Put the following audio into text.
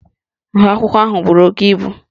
Nha akwụkwọ ahụ buru oke ibu